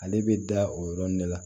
Ale bɛ da o yɔrɔnin de la